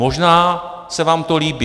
Možná se vám to líbí.